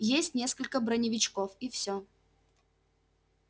есть несколько броневичков и все